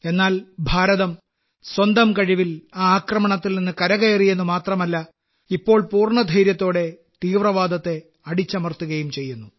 എന്നാൽ ഭാരതം സ്വന്തം കഴിവിൽ ആ ആക്രമണത്തിൽ നിന്ന് കരകയറി എന്നുമാത്രമല്ല ഇപ്പോൾ പൂർണ്ണ ധൈര്യത്തോടെ തീവ്രവാദത്തെ അടിച്ചമർത്തുകയും ചെയ്യുന്നു